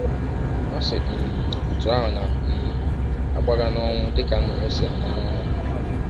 Ọ si um ọtụ ahụ na um - agbaga n’ọnwụ dị ka nnụnụ si ama n’ọnyà!